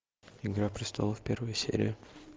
игра престолов первая серия